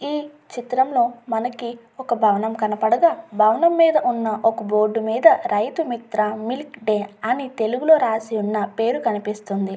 ఈ చిత్రంలో మనకి ఒక భవనం కనపడగా భవనం మీద ఉన్న ఒక బోర్డ్ మీద రైతు మిత్రా మిల్క్ డే అని తెలుగులో రాసి ఉన్న పేరు కనిపిస్తుంది.